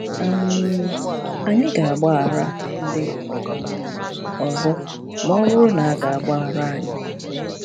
um Anyị ga-agbaghara ndị um ọzọ ma ọ bụrụ na a ga-agbaghara anyị